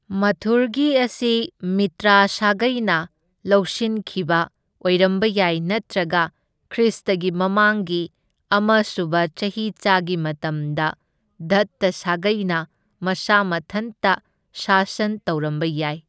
ꯃꯊꯨꯔꯒꯤ ꯑꯁꯤ ꯃꯤꯇ꯭ꯔꯥ ꯁꯥꯒꯩꯅ ꯂꯧꯁꯤꯟꯈꯤꯕ ꯑꯣꯏꯔꯝꯕ ꯌꯥꯏ, ꯅꯠꯇ꯭ꯔꯒ ꯈ꯭ꯔꯤꯁꯇꯒꯤ ꯃꯃꯥꯡꯒꯤ ꯑꯃ ꯁꯨꯕ ꯆꯍꯤꯆꯥꯒꯤ ꯃꯇꯝꯗ ꯗꯠꯇ ꯁꯥꯒꯩꯅ ꯃꯁꯥ ꯃꯊꯟꯇ ꯁꯥꯁꯟ ꯇꯧꯔꯝꯕ ꯌꯥꯏ꯫